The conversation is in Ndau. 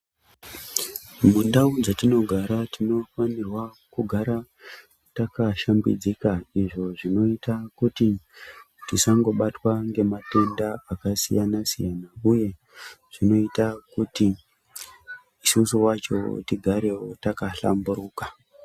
Mundau dzatinogara tinofana kugara takashambidzika izvo zvinoita kuti tisangobatwa nematenda akasiyana siyana uye kuti isusu wacho tigarewo takahlamburuka.